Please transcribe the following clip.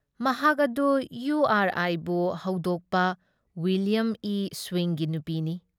ꯃꯍꯥꯛ ꯑꯗꯨ ꯏꯌꯨ ꯑꯥꯔ ꯑꯥꯏꯕꯨ ꯍꯧꯗꯣꯛꯄ ꯋꯨꯏꯂꯤꯌꯝ ꯏ ꯁ꯭ꯋꯤꯡꯒꯤ ꯅꯨꯄꯤꯅꯤ ꯫